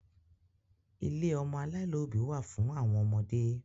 ilé ọmọ aláìlóbì wa fun awon omode